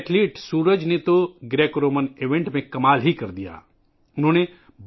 ہمارے کھلاڑی سورج نے گریکو رومن ایونٹ میں شاندار کارکردگی کا مظاہرہ کیا